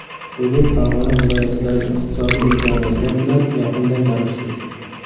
Bugun Farg‘ona viloyatidagi iqtisodiy imkoniyatlar bilan yaqindan tanishdik.